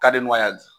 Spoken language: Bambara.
ya